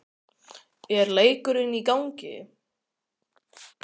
er leikurinn í gangi?